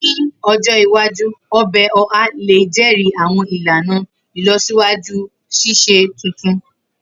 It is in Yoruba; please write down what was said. Ni ojo iwaju, ọbẹ Oha le jẹri awọn ilana ilọsiwaju sise tuntun.